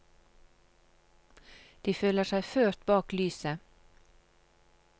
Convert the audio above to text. De føler seg ført bak lyset.